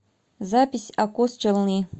запись акос челны